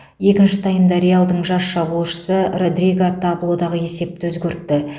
екінші таймда реалдың жас шабуылшысы родриго таблодағы есепті өзгертті